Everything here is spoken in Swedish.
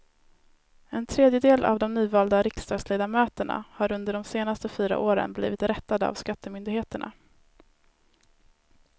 En tredjedel av de nyvalda riksdagsledamöterna har under de senaste fyra åren blivit rättade av skattemyndigheterna.